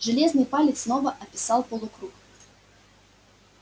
железный палец снова описал полукруг